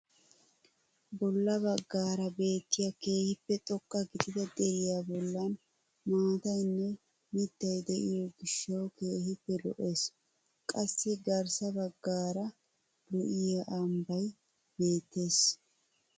Bolla baggaara beettiyaa keehippe xoqqa gidida deriyaa bollan maataynne mittay de'iyoo giishshawu keehippe lo"ees. qassi garssa baggaara lo"iyaa ambbay beettees.